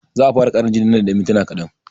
Za'a fara ƙarin jinin man da yan mintuna kaɗan